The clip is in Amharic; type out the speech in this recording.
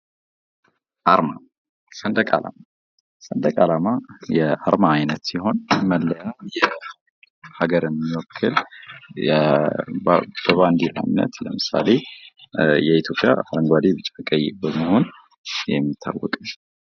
ቬጀቴሪያንነትና ቪጋኒዝም የእንስሳት ተዋጽኦዎችን የማይጠቀሙ የምግብ ምርጫዎች ሲሆኑ የራሳቸው ጥቅሞች አሏቸው